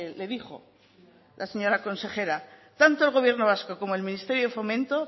le dijo la señora consejera tanto el gobierno vasco como el ministerio de fomento